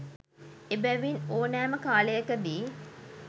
එබැවින් ඕනෑම කාලයකදී